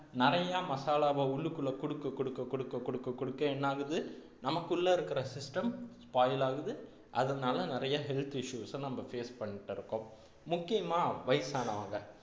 நிறைய மசாலாவை உள்ளுக்குள்ள கொடுக்க கொடுக்க கொடுக்க கொடுக்க கொடுக்க என்னாகுது நமக்குள்ள இருக்கிற system spoil ஆகுது அதனால நிறைய health issues நம்ம face பண்ணிட்டிருக்கோம் முக்கியமா வயசானவங்க